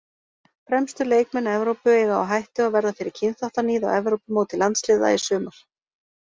Fremstu leikmenn Evrópu eiga á hættu að verða fyrir kynþáttaníð á Evrópumóti landsliða í sumar.